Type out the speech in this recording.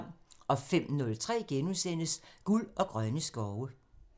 05:03: Guld og grønne skove *(tir)